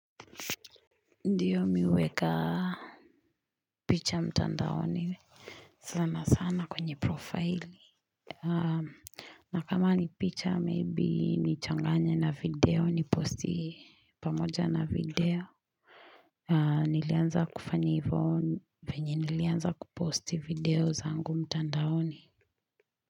Ndiyo mi huweka picha mtandaoni sana sana kwenye profile na kama ni picha maybe nichanganye na video niposti pamoja na video nilianza kufanya hivo venye nilianza kuposti video zangu mtandaoni.